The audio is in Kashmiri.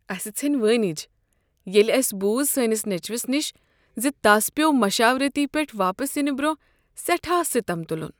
اسہ ژھیٚنۍ وٲنج ییٚلہ اسہ بُوز سٲنس نیچوس نش ز تس پیوٚو مشاورتی پیٹھٕ واپس ینہٕ برٛونٛہہ سیٹھاہ ستم تلن۔